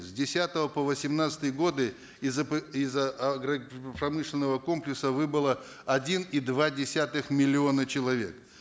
с десятого по восемнадцатый годы из из агропромышленного комплекса выбыло один и два десятых миллиона человек